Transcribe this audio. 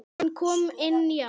Hann kom inn í hana.